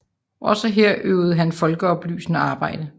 Også her øvede han folkeoplysende arbejde